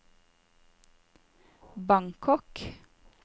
Bangkok